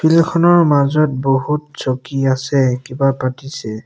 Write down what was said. খনৰ মাজত বহুত চকী আছে কিবা পতিছে।